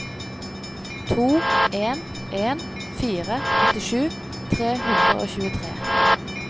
to en en fire åttisju tre hundre og tjuetre